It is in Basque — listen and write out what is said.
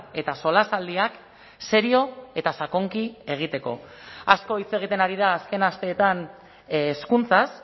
eta solasaldiak serio eta sakonki egiteko asko hitz egiten ari da azken asteetan hezkuntzaz